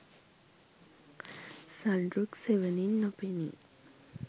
සල්රුක් සෙවණින් නොපෙනී